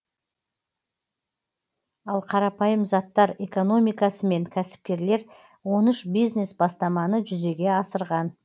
ал қарапайым заттар экономикасымен кәсіпкерлер он үш бизнес бастаманы жүзеге асырған